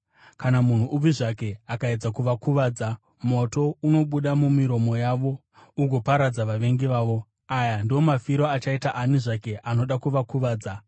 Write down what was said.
Kana munhu upi zvake akaedza kuvakuvadza, moto unobuda mumiromo yavo ugoparadza vavengi vavo. Aya ndiwo mafiro achaita ani zvake anoda kuvakuvadza.